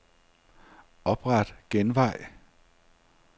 Opret genvej.